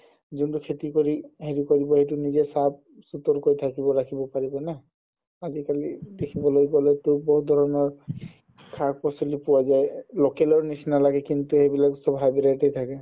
যোনটো খেতি কৰি হেৰি কৰিব সেইটো নিজে চাফ চুতৰকৈ কৈ থাকিব ৰাখিব পাৰিব না আজিকালি দেখিবলৈ গ'লেটো বহুত ধৰণৰ শাক পাচলি পোৱা যাই local ৰ নিচিনা লাগে কিন্তু সেইবিলাক চ'ব hybrid থাকে